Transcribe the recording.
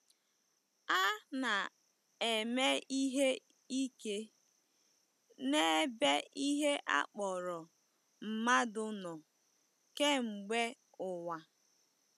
A na-eme ihe ike n'ebe ihe a kpọrọ mmadụ nọ kemgbe ụwa.